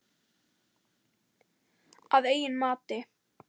Að eigin mati.